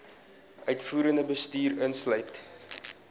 uitvoerende bestuur insluit